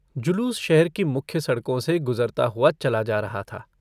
जुलूस शहर की मुख्य सड़कों से गुजरता हुआ चला जा रहा था।